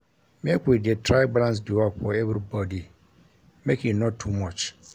Make we dey try balance di work for everybodi, make e no too much.